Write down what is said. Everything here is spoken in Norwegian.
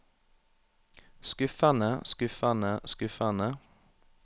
skuffende skuffende skuffende